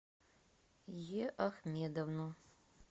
е ахмедовну